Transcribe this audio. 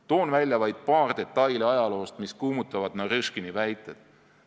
Toon välja vaid paar detaili ajaloost, mis kummutavad Narõškini väited.